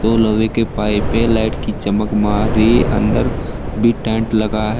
लोहे के पाइपे लाइट की चमक मार रही है अंदर भी टेंट लगा है।